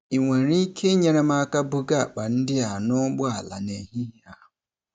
Ị nwere ike inyere m aka buga akpa ndị a n'ụgbọala n'ehihie a?